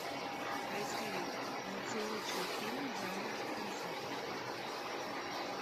поисковик найти лучшие фильмы жанра концерт